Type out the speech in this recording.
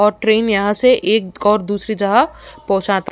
और ट्रेन यहाँ से एक जगह से दूसरी जगह पहुंचता --